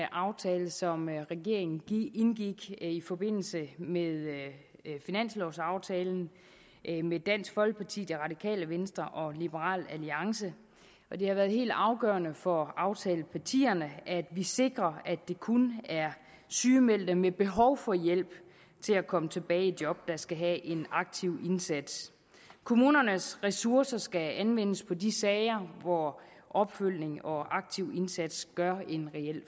aftale som regeringen indgik i forbindelse med finanslovaftalen med dansk folkeparti det radikale venstre og liberal alliance og det har været helt afgørende for aftalepartierne at vi sikrer at det kun er sygemeldte med behov for hjælp til at komme tilbage i job der skal have en aktiv indsats kommunernes ressourcer skal anvendes på de sager hvor opfølgning og aktiv indsats gør en reel